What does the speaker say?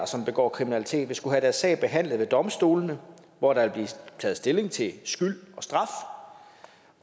som begår kriminalitet vil skulle have deres sag behandlet ved domstolene hvor der vil blive taget stilling til skyld